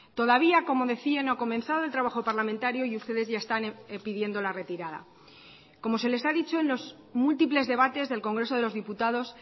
todavía como decía no ha comenzado el trabajo parlamentario y ustedes ya están pidiendo la retirada como se les ha dicho en los múltiples debates del congreso de los diputados